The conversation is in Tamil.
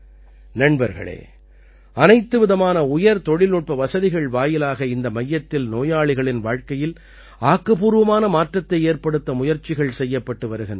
நண்பர்களே அனைத்துவிதமான உயர்தொழில்நுட்ப வசதிகள் வாயிலாக இந்த மையத்தில் நோயாளிகளின் வாழ்க்கையில் ஆக்கப்பூர்வமான மாற்றத்தை ஏற்படுத்த முயற்சிகள் செய்யப்பட்டு வருகின்றன